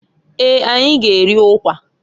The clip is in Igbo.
Eeǃ Anyị g'eri ukwa.